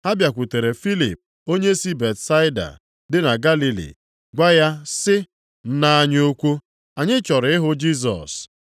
Ha bịakwutere Filip onye si Betsaida dị na Galili, gwa ya sị, “Nna anyị ukwu, anyị chọrọ ịhụ Jisọs.”